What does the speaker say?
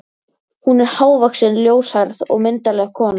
Hún er hávaxin, ljóshærð og myndarleg kona.